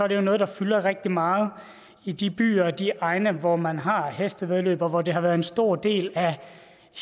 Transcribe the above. det jo noget der fylder rigtig meget i de byer og de egne hvor man har hestevæddeløb og hvor det har været en stor del af